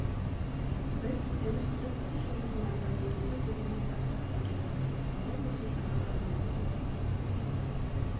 біз тәуелсіздіктің жылдығын ата өтуді бүгіннен бастап та кеттік мысалы осы жаңа ғана өткен алғашқы қоңырау